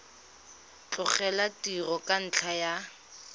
tlogela tiro ka ntlha ya